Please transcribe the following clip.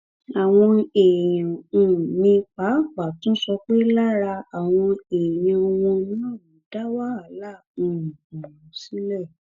àwọn èèyàn um míín pàápàá tún sọ pé lára àwọn èèyàn wọn náà ló dá wàhálà um ọhún sílẹ